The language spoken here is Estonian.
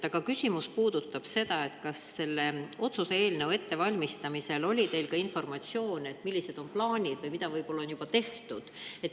Aga küsimus puudutab seda, kas selle otsuse eelnõu ettevalmistamisel oli teil ka informatsioon, millised on plaanid või mida on juba tehtud.